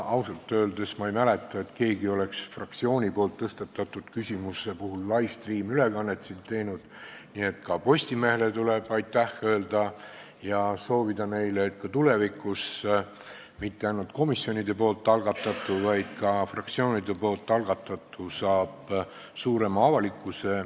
Ausalt öeldes ma ei mäleta, et keegi oleks fraktsiooni tõstatatud küsimuse puhul siit live-stream-ülekannet teinud, nii et ka Postimehele tuleb aitäh öelda ja soovida neile, et tulevikuski mitte ainult komisjonide algatatu, vaid ka fraktsioonide algatatu saaks avalikkuse suurema tähelepanu.